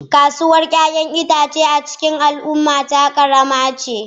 Kasuwar 'ya'yan itace a cikin al'ummata karama ce.